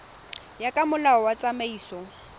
ya ka molao wa tsamaiso